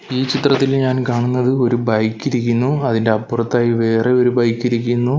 ഈ ചിത്രത്തിൽ ഞാൻ കാണുന്നത് ഒരു ബൈക്ക് ഇരിക്കുന്നു അതിൻ്റെ അപ്പുറത്തായി വേറെ ഒരു ബൈക്ക് ഇരിക്കുന്നു.